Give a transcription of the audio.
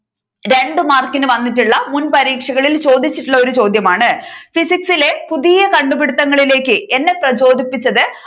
രണ്ടു മാർക്കിന് വന്നിട്ടുള്ള മുൻപരീക്ഷകളിൽ ചോദിച്ചിട്ടുള്ള ഒരു ചോദ്യമാണ് ഫിസിക്സ് ഇലെ പുതിയ കണ്ടുപിടിത്തങ്ങളിലേക്ക് എന്നെ പ്രചോദിപ്പിച്ചത്